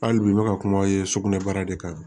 Hali bi n bɛ ka kuma ye sugunɛbara de kan